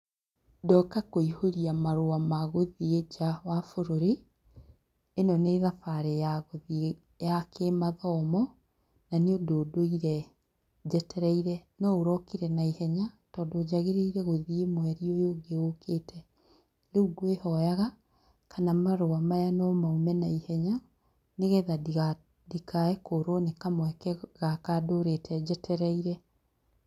Ndoka kũihũria marũa ma gũthiĩ nja wa bũrũri ĩno nĩ thabarĩ ya gũthie ya kĩmathomo na nĩ ũndũ ndũire njetereire no ũrokire na ihenya tondũ njagĩrĩire gũthiĩ mweri ũyũ ũngĩ ũkĩte, rĩu gwĩhoyaga kana marũa maya no maume na ihenya nĩgetha ndikae kũrwo nĩ kamweke gaka ndũrĩte njetereire.